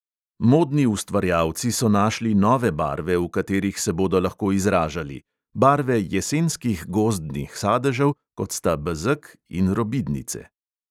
Modni ustvarjalci so našli nove barve, v katerih se bodo lahko izražali: barve jesenskih gozdnih sadežev, kot sta bezeg in robidnice.